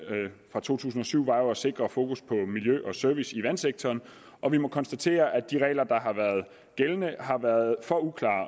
fra to tusind og syv var jo at sikre fokus på miljø og service i vandsektoren og vi må konstatere at de regler der har været gældende har været for uklare